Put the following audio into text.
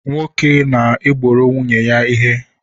Nwoke na-egboro nwunye ya ihe